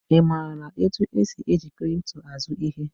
I maara otu esi eji kripto azụ ihe?